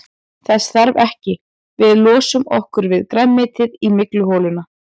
Þess þarf ekki, við losum okkur við grænmetið í mygluholuna.